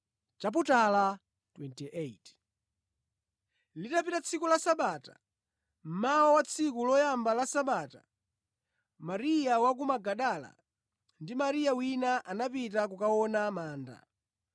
Litapita tsiku la Sabata, mmawa wa tsiku loyamba la Sabata, Mariya wa ku Magadala ndi Mariya wina anapita kukaona manda.